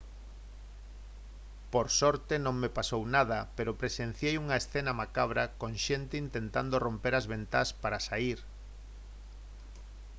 «por sorte non me pasou nada pero presenciei unha escena macabra con xente intentando romper as ventás para saír